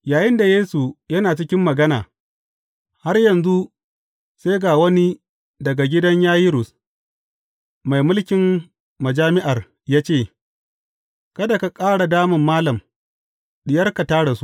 Yayinda Yesu na cikin magana har yanzu, sai ga wani daga gidan Yayirus, mai mulkin majami’ar ya ce, Kada ka ƙara damun malam, diyarka ta rasu.